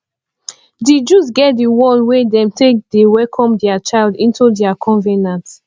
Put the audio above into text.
di jews get the one wey dem de take welcome the child into their covenant